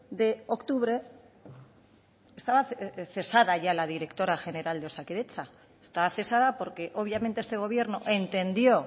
de octubre estaba cesada ya la directora general de osakidetza estaba cesada porque obviamente este gobierno entendió